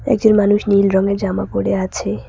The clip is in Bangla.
মানুষ নীল রঙের জামা পরে আছে।